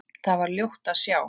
Þar var ljótt að sjá.